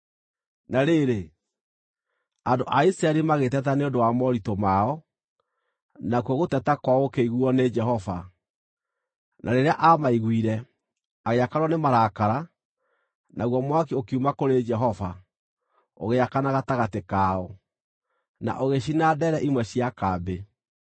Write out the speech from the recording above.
Na rĩrĩ, andũ a Isiraeli magĩteta nĩ ũndũ wa moritũ mao, nakuo gũteta kwao gũkĩiguuo nĩ Jehova, na rĩrĩa aamaiguire, agĩakanwo nĩ marakara, naguo mwaki ũkiuma kũrĩ Jehova, ũgĩakana gatagatĩ kao, na ũgĩcina ndeere imwe cia kambĩ.